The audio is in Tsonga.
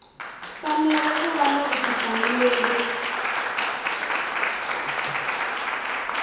fanele ku va na vutihlamuleri